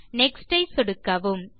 next ஐ சொடுக்கவும்